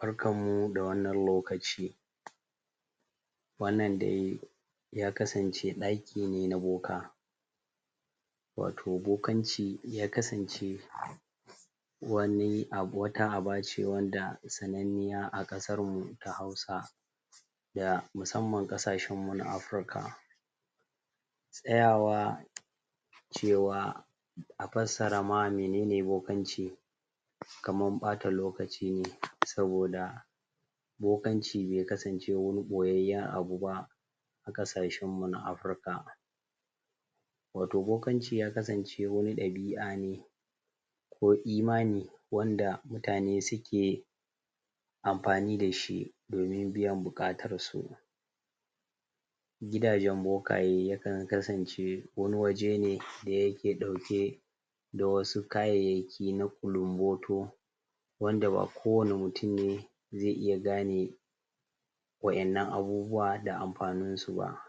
barkammu da wannan kokaci wannan dai ya kasance daki ne na boka wato bokanci ya kasance wata abace wanda sanannI iya a kasar mu ta Hausa gabaki daya masammama kasar mu ta Afirka tsayawa cewa a fassara mai nene bokanci kamar bata lokaci ne saboda bokanci bai kasance wani boyayyan abuba a kashen mu Afirika bokanci ya kasance wata dabi'a ko imani wanda muta ne suke amfani da shi domin biyan bukatar su gidajan bokaye yakan kasance wani waje ne da yake dauke da wasu kayayyaki na kulunboto wanda ba kowani mutum ne zai iya gane wa'yannan abubuwa da amfaninsu ba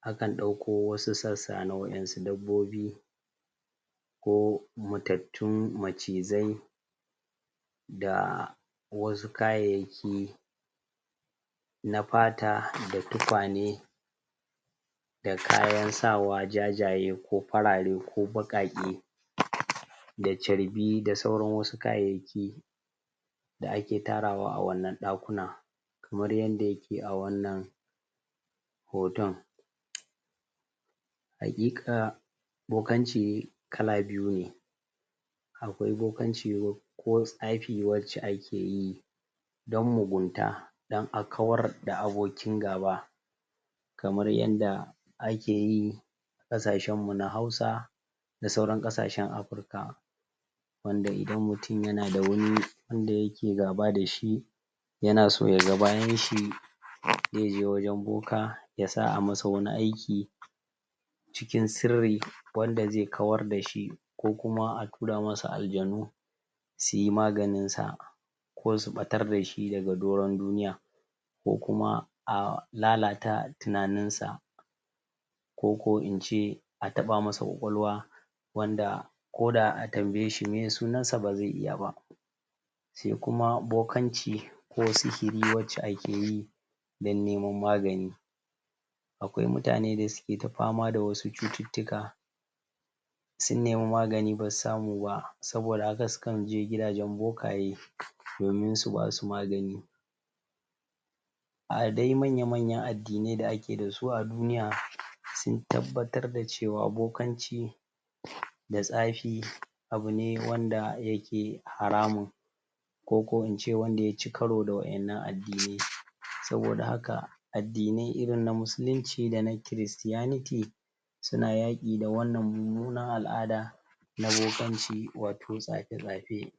akan dakko wasu sassa na wadansu dabbobi ko matattun macizzai da wasu kayayyaki na fata da tukwane da kayan sawa jajaye ko farare ko bakake da carbi da sauran wasu kayayyaki da ake tarawa a wannan dakunan kamar yadda yake a wannan hoton hakika bokanci kala biyu ne akwai bokanci ko tsafi wacce ake yi dan mugunta dan a kawar da abokin gaba kamar yadda ake yi a kasashenmu na Hausa da sauran kasashenmu Afirka wan da idan mutum yana da wani wanda yake gaba da shi yana so yaga bayan shi zai je wajan boka ya sa a masa wani ayki cikin sirri wanda zai kawar da shi ko kuma a tura masa aljanu su yi maganinsa ko su batar da shi daga doran duniya ko kuma a lalata tinaninsa ko kuma in ce a taba masa kwakwalwa wanda koda an tambaye shi sunsnsa ba za tuna ba sai kuma bokanci ko sihiri acce ake yi dan neman magani akwai mutane da suke ta fama da wasu cututtuka sun nemi magani basu samu ba saboda haka sukan je gian bokaye domin su basu magani a manya manyan addi ne da ake da su a duniya sun tabbatar da cewa bokanci da tsafi abu ne wanda yake hramun ko kuma mu ce wanda ya cikaro da wa'yannan addini saboda haka addini irin na musulunci da na kiristiyaniti suna yaki da wannan mummunan al'ada na bokanci wato tsafetsafe